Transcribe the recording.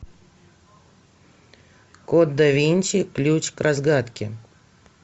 код да винчи ключ к разгадке